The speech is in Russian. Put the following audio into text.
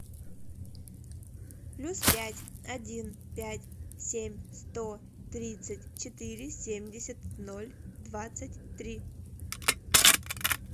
плюс пять один пять семь сто тридцать четыре семьдесят ноль двадцать три